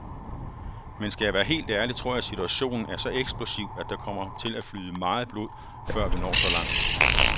Men skal jeg være helt ærlig, tror jeg situationen er så eksplosiv, at der kommer til at flyde meget blod, før vi når så langt.